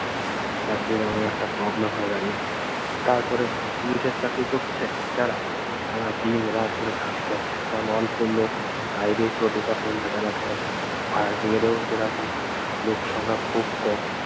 চাকরির এমন একটা problem হয়ে দাঁড়িয়েছে। তার পরে পুলিশের চাকরি করছে যারা তারা দিনরাত ধরে খাটতে হচ্ছে কারন অল্প লোক তাই দিয়ে পুরো department টা চালাতে হবে fire bridge এ ও যেরকম লোকসংখ্যা খুব কম